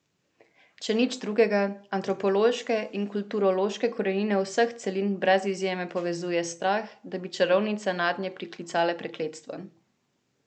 Če nič drugega, antropološke in kulturološke korenine vseh celin brez izjeme povezuje strah, da bi čarovnice nadnje priklicale prekletstvo.